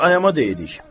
Bizlər ayama deyirik.